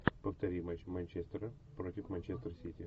повтори матч манчестера против манчестер сити